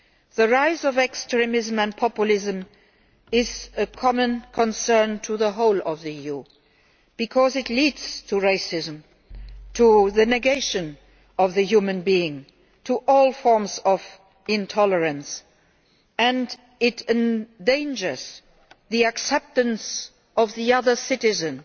The rise of extremism and populism is a common concern to the whole of the EU because it leads to racism, to the negation of the human being, to all forms of intolerance, and it endangers the acceptance of other citizens